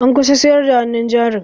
An kusa siyar da hannun jarin